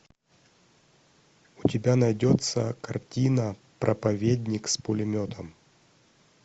у тебя найдется картина проповедник с пулеметом